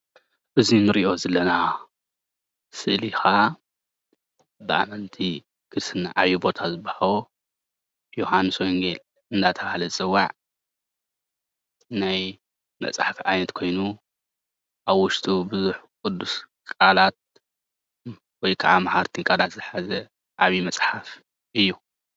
እዚ እንሪኦ ዘለና ስእሊ ከዓ ብኣመንቲ ክርስትና ዓብይ ቦታ ዝወሃቦ ዮውሃንስ ወንጌል እንዳተባሃለ ዝፅዋዕ ናይ መፅሓፍ ዓይነት ኮይኑ ኣብ ውሽጡ ቡዙሕ ቁዱስ ቃላት ወይ ከዓ መዓልቲ ቃላት ዝሓዘ ዓብይ መፅሓፍ እዩ፡፡